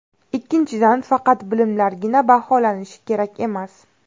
Ikkinchidan, faqat bilimlargina baholanishi kerak emas.